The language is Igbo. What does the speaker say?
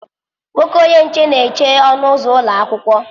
Nwoke onye nche na eche ọnụ ụzọ ụlọ akwụkwọ.